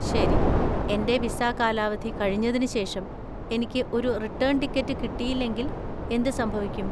ശരി, എന്‍റെ വിസ കാലാവധി കഴിഞ്ഞതിന് ശേഷം എനിക്ക് ഒരു റിട്ടേൺ ടിക്കറ്റ് കിട്ടിയില്ലെങ്കിൽ എന്ത് സംഭവിക്കും?